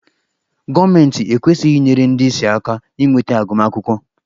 Gọọmentị ekwesịghị inyere ndị ìsì aka inweta agụmakwụkwọ?